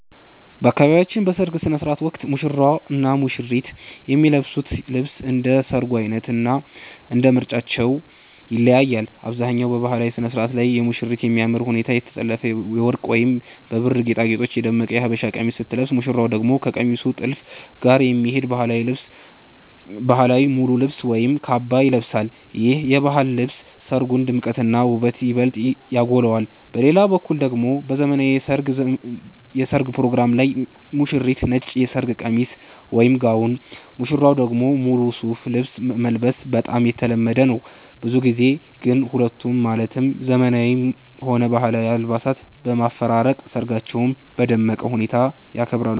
በአካባቢያችን በሰርግ ሥነ ሥርዓት ወቅት ሙሽራውና ሙሽሪት የሚለብሱት ልብስ እንደ ሰርጉ ዓይነትና እንደ ምርጫቸው ይለያያል። በአብዛኛው በባህላዊው ሥነ ሥርዓት ላይ ሙሽሪት በሚያምር ሁኔታ የተጠለፈና በወርቅ ወይም በብር ጌጣጌጦች የደመቀ የሀበሻ ቀሚስ ስትለብስ፣ ሙሽራው ደግሞ ከቀሚሱ ጥልፍ ጋር የሚሄድ ባህላዊ ሙሉ ልብስ ወይም ካባ ይለብሳል። ይህ የባህል ልብስ የሰርጉን ድምቀትና ውበት ይበልጥ ያጎላዋል። በሌላ በኩል ደግሞ በዘመናዊው የሠርግ ፕሮግራም ላይ ሙሽሪት ነጭ የሰርግ ቀሚስ (ጋውን)፣ ሙሽራው ደግሞ ሙሉ ሱፍ ልብስ መልበስ በጣም የተለመደ ነው። ብዙ ጊዜ ግን ሁለቱንም ማለትም ዘመናዊውንም ሆነ ባህላዊውን አልባሳት በማፈራረቅ ሰርጋቸውን በደመቀ ሁኔታ ያከብራሉ።